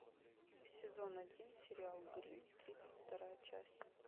сезон один сериал гримм тридцать вторая часть